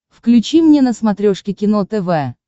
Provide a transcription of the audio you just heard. включи мне на смотрешке кино тв